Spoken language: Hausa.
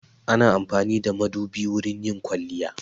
Ana amfani da madubi wurin yin kwaliya.